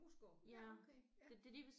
Moesgaard ja okay ja